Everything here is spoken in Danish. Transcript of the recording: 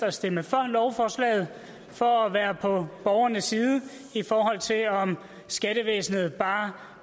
at stemme for lovforslaget for at være på borgernes side i forhold til om skattevæsenet bare